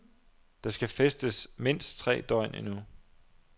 Der skal festes mindst tre døgn endnu.